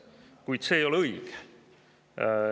Kuid see ei ole õige.